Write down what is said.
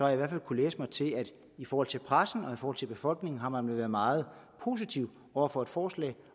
i hvert fald kunnet læse mig til at i forhold til pressen og i forhold til befolkningen har man været meget positiv over for et forslag